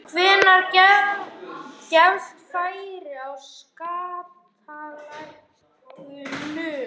Hvenær gefst færi á skattalækkunum?